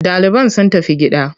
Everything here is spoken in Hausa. Ɗaliban sun tafi gida.